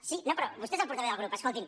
sí no però vostè és el portaveu del grup escolti’m